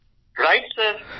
Gaurav right sir